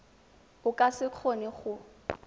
o ka se kgone go